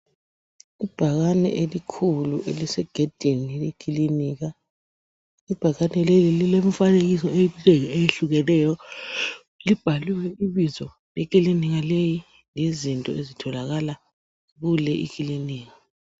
Ibhakane elikhulu elise gedini lekilinika . lbhakane leli lile mifanekiso eminengi etshiyeneyo . Libhaliwe ibizo lekilinika lezinto ezitholakala kule ikilinika .